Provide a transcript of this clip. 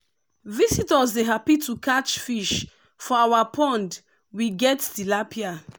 visitors dey happy to catch fish for our pond wey get tilapia.